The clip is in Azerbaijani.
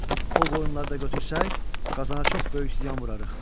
O qoyunları da götürsək, Qazana çox böyük ziyan vurarıq.